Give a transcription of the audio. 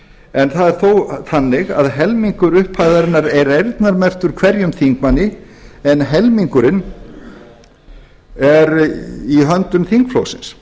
en það er þó þannig að helmingur upphæðarinnar er eyrnamerktur hverjum þingmanni en helmingurinn er í höndum þingflokksins